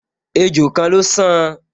Ejò kan ló san